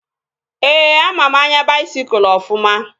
Ee, ama m anya baisikụl ofụma